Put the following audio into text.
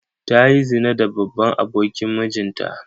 Ta yi zina da babban abokin mijinta.